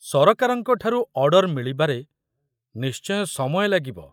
ସରକାରଙ୍କଠାରୁ ଅର୍ଡ଼ର ମିଳିବାରେ ନିଶ୍ଚୟ ସମୟ ଲାଗିବ।